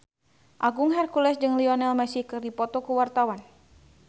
Agung Hercules jeung Lionel Messi keur dipoto ku wartawan